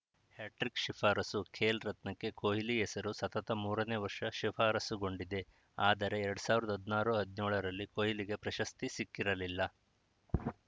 hat trick ಶಿಫಾರಸು ಖೇಲ್‌ ರತ್ನಕ್ಕೆ ಕೊಹ್ಲಿ ಹೆಸರು ಸತತ ಮೂರನೇ ವರ್ಷ ಶಿಫಾರಸುಗೊಂಡಿದೆ ಆದರೆ ಎರಡ್ ಸಾವಿರದ ಹದಿನಾರು ಹದಿನ್ಯೋಳರಲ್ಲಿ ಕೊಹ್ಲಿಗೆ ಪ್ರಶಸ್ತಿ ಸಿಕ್ಕಿರಲಿಲ್ಲ